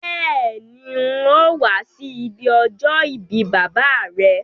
Béèni, n̄ óò wá sí ibi ọjọ́ ìbí bàbá à rẹ.